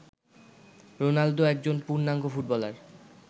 Ronaldo একজন পূর্ণাঙ্গ footballer